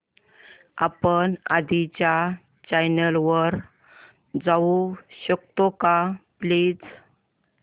आपण आधीच्या चॅनल वर जाऊ शकतो का प्लीज